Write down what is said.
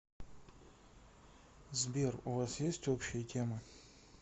сбер у вас есть общие темы